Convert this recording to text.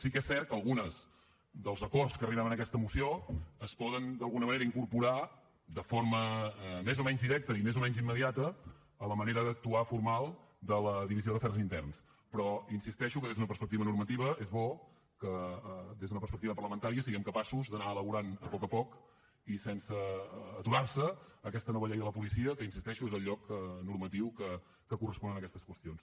sí que és cert que alguns dels acords a què arribem en aquesta moció es poden d’alguna manera incorporar de forma més o menys directa i més o menys immediata a la manera d’actuar formal de la divisió d’afers interns però insisteixo que des d’una perspectiva normativa és bo que des d’una perspectiva parlamentària siguem capaços d’anar elaborant a poc a poc i sense aturar se aquesta nova llei de la policia que hi insisteixo és el lloc normatiu que correspon a aquestes qüestions